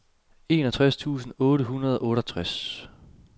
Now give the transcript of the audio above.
enogtres tusind otte hundrede og otteogtres